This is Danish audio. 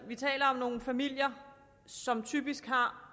vi taler om nogle familier som typisk har